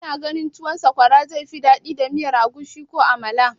Kina ganin tuwon sakwara zai fi daɗi da miyar agushi ko kuma amala?